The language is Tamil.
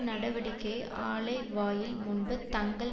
நடவடிக்கையை ஆலைவாயில் முன்பு தங்கள்